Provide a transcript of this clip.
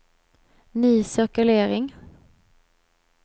ny cirkulering